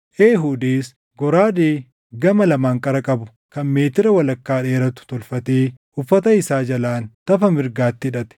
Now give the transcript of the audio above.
Eehuudis goraadee gama lamaan qara qabu kan meetira walakkaa dheeratu tolfatee uffata isaa jalaan tafa mirgaatti hidhate.